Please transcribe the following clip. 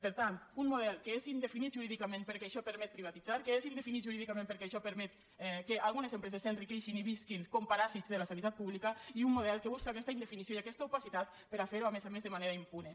per tant un model que és indefinit jurídicament perquè això permet privatitzar que és indefinit jurídicament perquè això permet que algunes empreses s’enriqueixin i visquin com a paràsits de la sanitat pública i un model que busca aquesta indefinició i aquesta opacitat per a fer ho a més a més de manera impune